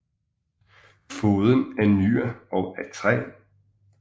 Foden er nyere og af træ